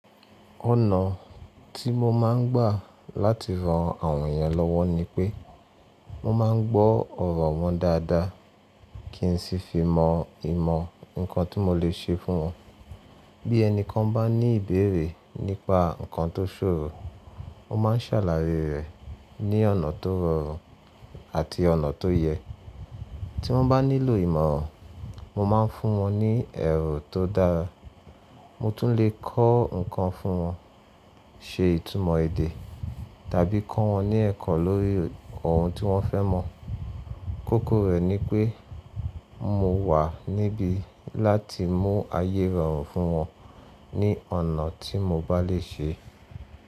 Ọ̀nà tí mo máa ń gbà láti ran àwọn èèyàn lọ́wọ́ ni pé, mo máa ń gbọ́ ọ̀rọ̀ wọn dáadáa kí n sì fi mọ ìmọ̀ nǹkan tí mo lè ṣe fún wọn. Bí ẹni kan bá ní ìbéèrè nípa nǹkan tó ṣòro, mo máa ń sàlàyé rẹ̀ ní ọ̀nà tó rọrùn àti ọ̀nà tó yẹ. Tí wọ́n bá nílò ìmọ̀ràn, mo máa ń fún wọn ní èrò tó dára. Mo tún lè kọ́ nǹkan fún wọn, ṣe ìtumọ̀ èdè tàbí kọ́ wọn ní ẹ̀kọ́ lórí ohun tí wọ́n fẹ́ mọ̀. Kókó rẹ̀ ni pé mo wà níbí láti mú ayé rọrùn fún wọn ní ọ̀nà tí mo bá lè ṣe.